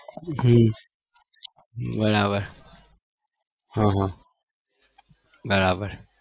હમ બરાબર હા હા બરાબર